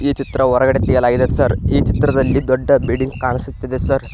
ಈ ಚಿತ್ರ ಹೊರಗಡೆ ತೆಗೆಯಲಾಗಿದೆ ಸರ್ ಈ ಚಿತ್ರದಲ್ಲಿ ದೊಡ್ಡ ಬಿಲ್ಡಿಂಗ್ ಕಾಣಿಸುತ್ತಿದೆ ಸರ್ .